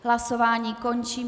Hlasování končím.